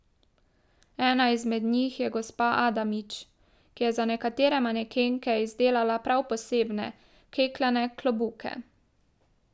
Ena izmed njih je gospa Adamič, ki je za nekatere manekenke izdelala prav posebne, klekljane klobuke.